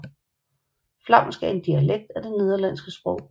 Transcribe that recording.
Flamsk er et dialekt af det nederlandske sprog